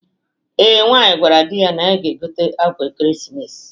Ee, nwaanyị gwara di ya na ya ga-egote akwa ekeremesis